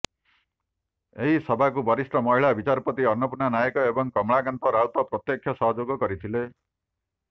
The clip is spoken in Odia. ଏହି ସଭାକୁ ବରିଷ୍ଠ ମହିଳା ବିଚାରପତି ଅନ୍ନପୂର୍ଣ୍ଣା ନାୟକ ଏବଂ କମଳାକାନ୍ତ ରାଉତ ପ୍ରତ୍ୟକ୍ଷ ସହଯୋଗ କରିଥିଲେ